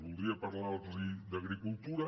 voldria parlar los d’agricultura